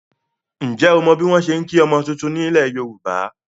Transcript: Ǹjẹ́ o mọ bí wọn ṣe ń kí ọmọ titun nílẹ̀ Yorùbá?